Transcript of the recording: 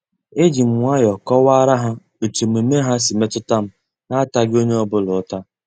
Ejim nwayọọ kọwara ha etu omume ha si wee metutam na ataghi onye ọ bụla uta.